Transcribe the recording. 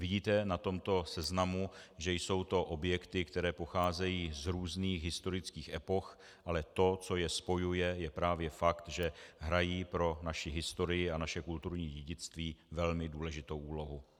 Vidíte na tomto seznamu, že jsou to objekty, které pocházejí z různých historických epoch, ale to, co je spojuje, je právě fakt, že hrají pro naši historii a naše kulturní dědictví velmi důležitou úlohu.